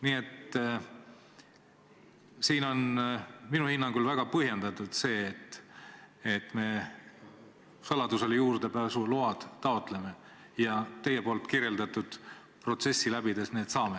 Nii et siin on minu hinnangul väga põhjendatud see, et me saladusele juurdepääsulubasid taotleme ja teie kirjeldatud protsessi läbides need saame.